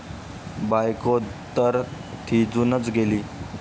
बायकोतर थिजूनच गेली.